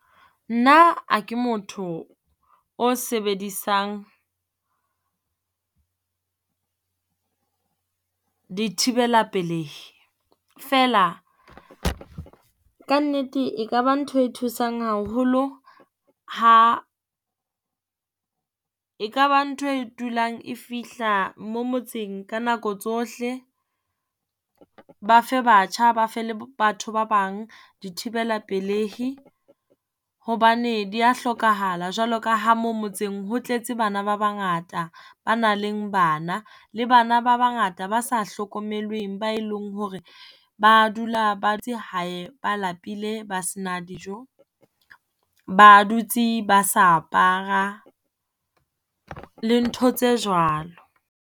Nna ha ke motho o sebedisang dithibela pelehi. Feela kannete e ka ba ntho e thusang haholo ha e ka ba ntho e dulang e fihla mo motseng ka nako tsohle, Ba fe batjha ba fe le batho ba bang dithibela pelehi hobane di ya hlokahala jwalo ka ha mo motseng ho tletse bana ba bangata, ba nang le bana. Le bana ba bangata ba sa hlokomelweng ba e leng hore ba dula hae, ba lapile ba se na dijo. Ba dutse ba sa apara le ntho tse jwalo.